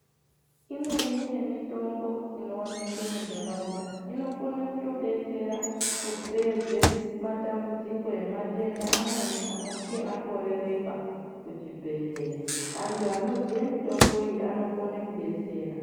Imweni yemutombo inooneka mundaraunda inokona kutodetsera kupedza matambudziko ematenda amweni anenge akorereka muzvibhedhlera. Antu anoziye mitombo iyi anokone kudetsera .